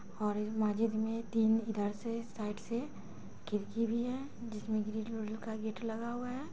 और इस मस्जिद में तीन इधर से साइड से खिड़की भी है जिसमें ग्रीन कलर का गेट लगा हुआ है।